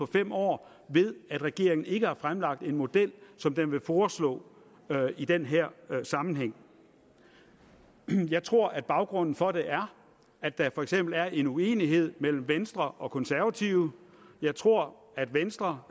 fem år ved at regeringen ikke har fremlagt en model som den vil foreslå i den her sammenhæng jeg tror at baggrunden for det er at der for eksempel er en uenighed mellem venstre og konservative jeg tror at venstre